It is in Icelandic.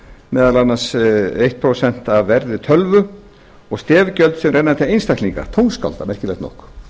meðal annars eitt prósent af verði tölvu og stef gjöld sem renna til einstaklinga merkilegt nokk